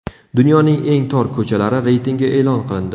Dunyoning eng tor ko‘chalari reytingi e’lon qilindi .